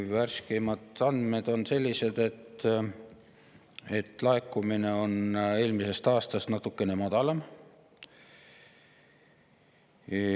" Värskeimad andmed on sellised, et laekumine on eelmisest aastast natukene madalam.